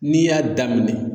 N'i y'a daminɛ.